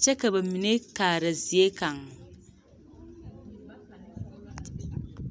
kyɛ ka ba mine kaara zie kaŋ.